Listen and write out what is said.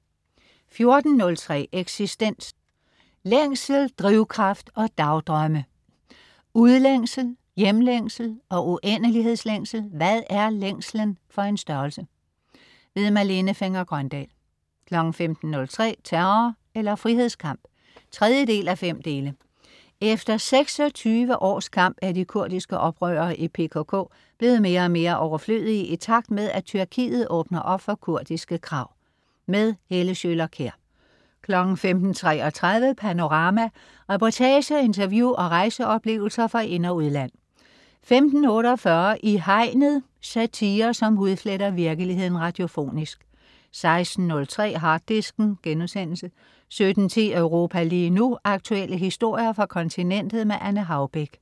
14.03 Eksistens. Længsel, drivkraft og dagdrømme. Udlængsel, hjemlængsel og uendelighedslængsel. Hvad er længslen for en størrelse. Malene Fenger-Grøndahl 15.03 Terror eller frihedskamp 3:5. Efter 26 års kamp er de kurdiske oprørere i PKK blevet mere og mere overflødige i takt med, at Tyrkiet åbner op for kurdiske krav. Helle Schøler Kjær 15.33 Panorama. Reportager, interview og rejseoplevelser fra ind og udland 15.48 I Hegnet. Satire, som hudfletter virkeligheden radiofonisk 16.03 Harddisken* 17.10 Europa lige nu. Aktuelle historier fra kontinentet. Anne Haubek